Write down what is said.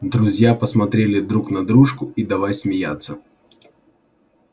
друзья посмотрели друг на дружку и давай смеяться